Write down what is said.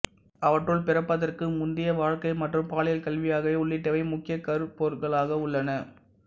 அவற்றுள் பிறப்பதற்கு முந்தைய வாழ்க்கை மற்றும் பாலியல் கல்வி ஆகியவை உள்ளிட்டவை முக்கிய கருப்பொருள்களாக உள்ளன